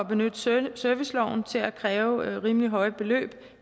benytte serviceloven til at kræve rimelig høje beløb